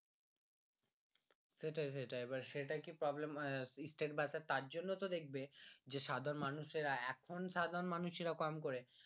সেইটাই সেইটাই এইবার সেইটার কি Problem আহ state বাস তার জন্যে তো দেখবে যে সাধারণ মানুষেরা এখন সাধারণ মানুষেরা কম করে